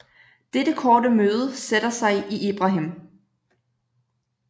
Dette korte møde sætter sig i Ibrahim